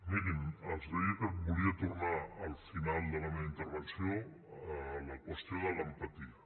mirin els deia que volia tornar al final de la meva intervenció a la qüestió de l’empatia